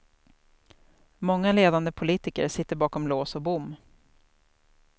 Många ledande politiker sitter bakom lås och bom.